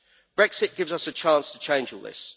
Brexit gives us a chance to change all this.